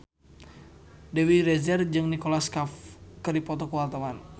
Dewi Rezer jeung Nicholas Cafe keur dipoto ku wartawan